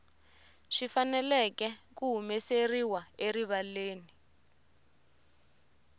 swi fanele ku humeseriwa erivaleni